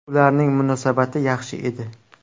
Ularning munosabati yaxshi edi.